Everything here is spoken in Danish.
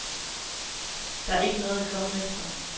Der er ikke noget at komme efter.